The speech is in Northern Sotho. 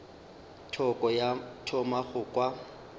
thoko ka thoma go kwa